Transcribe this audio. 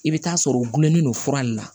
I bɛ taa sɔrɔ u gulonnen don fura de la